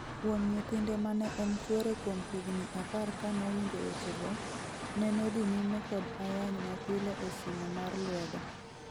Wuon nyihtinde mane en chuore kuom higni apar kanowinjo wechego, nenodhi nyime kod ayany mapile e simo mar lwedo.